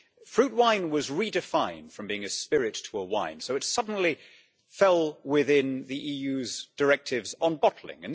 Fruit wine was redefined from being a spirit to a wine, so it suddenly fell within the EU's directives on bottling.